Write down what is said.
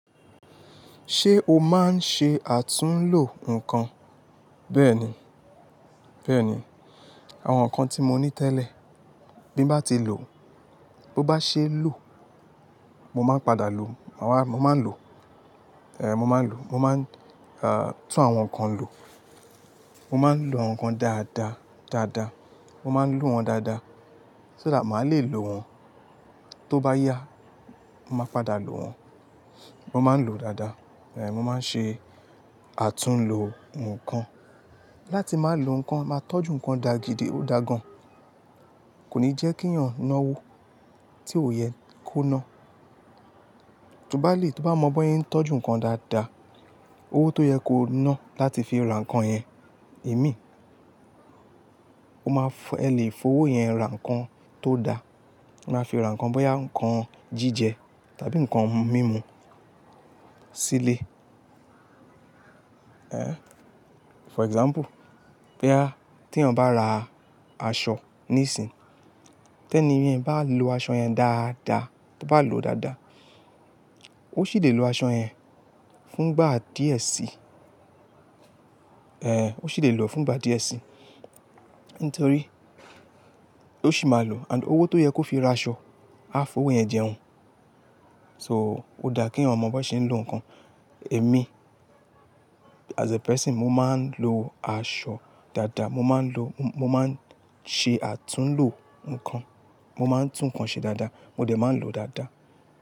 Ṣé o máa ń ṣe àtúnlo nǹkan? Bẹ́ẹ̀ni, bẹ́ẹ̀ni. Àwọn nǹkan tí mo ní tẹ́lẹ̀ bí mo bá ti lò, bó bá ṣe lo, mo máa ń padà lò. Mo máa ń lò, mo máa ń lò, mo máa ń tún àwọn nǹkan lò. Mo máa ń lo àwọn nǹkan dáadáa, dáadáa. Mo máa ń lò wọ́n dáadáa. Ṣo that daàdá, màá le lò wọ́n tó bá yá, màá padà lò wọ́n. Mo máa ń lò ó dáadáa. Ẹ̀h, mo máa ń ṣe àtúnlo nǹkan. Láti máa lò nǹkan, máa tọ́jú nǹkan dá gidi, ó dá gan. Kò ní jẹ́ kí yàn náwó tí òye kò ná. Tí ó bá le, tí o bá mọ bóyá ń tọ́jú nǹkan dáadáa, owó tó yẹ kó ná láti fi ra nǹkan yẹn, èmi, o máa f- ẹ lè fowó yẹn ra nǹkan tó da. O máa fi ra nǹkan, bóyá nǹkan jíjẹ tàbí nǹkan mímu sílé. Ẹ̀h, for example, bóyá tí iyàn bá ra aṣọ níìsín, tẹ́ni yẹn bá lo aṣọ yẹn dáadáa, to bá lò ó dáadáa, ó sì le lo aṣọ yẹn fún ìgbà díẹ̀ sí. Ẹ̀h, ó sì le lò fún ìgbà díẹ̀ sí. Nítorí ó sì máa lò and owó tó yẹ kó fi ra aṣọ, a fowó yẹn jẹun. So, ó dáa kí iyan mọ bọ ṣe ń lo nǹkan. Èmi as a person, mo máa ń lo aṣọ dáadáa. Mo máa ń lo, mo máa ń ṣe àtúnlo nǹkan. Mo máa ń tún nǹkan ṣe dáadáa, mo dẹ̀ máa ń lò ó dáadáa.